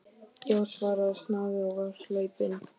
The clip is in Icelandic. Já, svaraði snáðinn og var hlaupinn.